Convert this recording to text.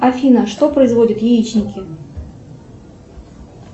афина что производят яичники